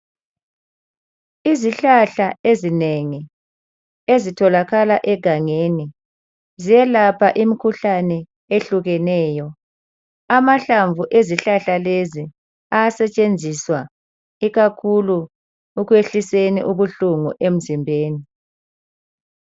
Izihlahla ezinengi ezitholakala egangeni ziyelapha imikhuhlane ehlukeneyo. Amahlamvu ezihlahla lezi ayasetshenziswa ikakhulu ekwehliseni ubuhlungu emzimbeni.